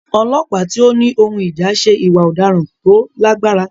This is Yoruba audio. Ọlọ́pàá tí ó ní ohun ìjà ṣe ìwà ọ̀daràn tó lágbára.